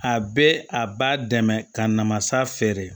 A bɛ a b'a dɛmɛ ka namasa feere